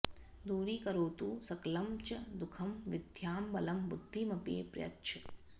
दूरीकरोतु सकलं च दुःखम् विद्यां बलं बुद्धिमपि प्रयच्छ